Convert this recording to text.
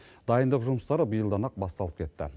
дайындық жұмыстары биылдан ақ басталып кетті